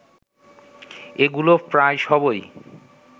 এগুলো প্রায় সবই